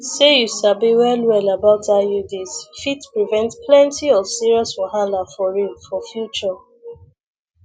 say you sabi well well about iuds fit prevent plenty of serious wahala for real for future